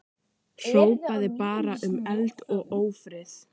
Hrópaði bara um eld og ófrið.